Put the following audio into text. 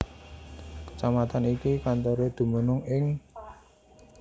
Kecamatan iki kantoré dumunung ing